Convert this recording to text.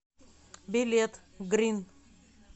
билет грин